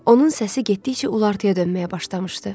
Onun səsi getdikcə ulartıya dönməyə başlamışdı.